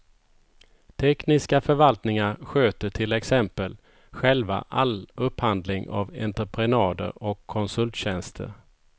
Tekniska förvaltningar sköter till exempel själva all upphandling av entreprenader och konsulttjänster.